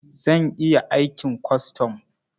Zan iya aikin kwastam.